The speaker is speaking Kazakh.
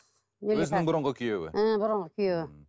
өзінің бұрынғы күйеуі ы бұрынғы күйеуі